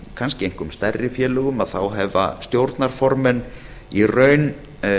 kannski einkum stærri félögum hafa stjórnarformenn í raun